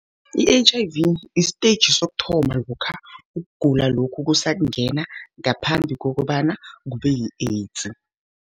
I-H_I_V istetjhi sokuthoma, lokha ugula lokhu kusakungena, ngaphambi kokobana kube yi-AIDS.